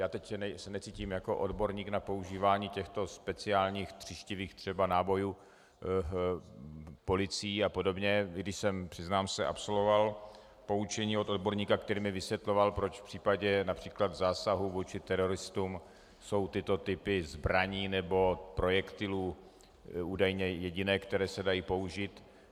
Já se teď necítím jako odborník na používání těchto speciálních tříštivých třeba nábojů policií a podobně, i když jsem, přiznám se, absolvoval poučení od odborníka, který mi vysvětloval, proč v případě například zásahu vůči teroristům jsou tyto typy zbraní nebo projektilů údajně jediné, které se dají použít.